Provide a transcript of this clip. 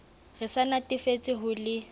re sa natefetswe ho le